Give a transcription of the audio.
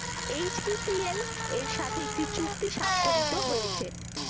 HPCL এর সাথে একটি চুক্তি সাক্ষরিত হয়েছে